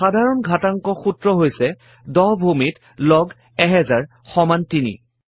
এটা সাধাৰণ ঘাতাংকৰ সূত্ৰ হৈছে 10 ভূমিত লগ 1000 সমান 3